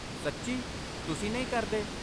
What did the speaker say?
ਸੱਚੀ, ਤੁਸੀਂ ਨਹੀਂ ਕਰਦੇ?